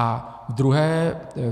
A